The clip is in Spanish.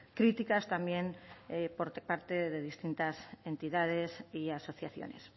críticas también por parte de distintas entidades y asociaciones